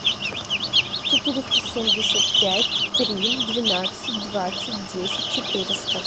четыреста семьдесят пять три двенадцать двадцать десять четыреста